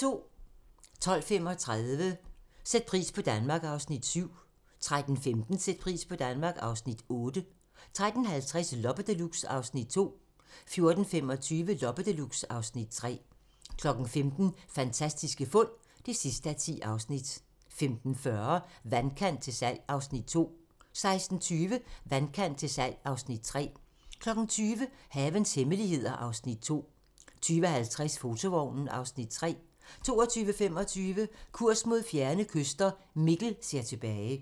12:35: Sæt pris på Danmark (Afs. 7) 13:15: Sæt pris på Danmark (Afs. 8) 13:50: Loppe Deluxe (Afs. 2) 14:25: Loppe Deluxe (Afs. 3) 15:00: Fantastiske fund (10:10) 15:40: Vandkant til salg (Afs. 2) 16:20: Vandkant til salg (Afs. 3) 20:00: Havens hemmeligheder (Afs. 2) 20:50: Fotovognen (Afs. 3) 22:25: Kurs mod fjerne kyster - Mikkel ser tilbage